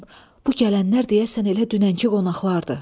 bu gələnlər deyəsən elə dünənki qonaqlardır.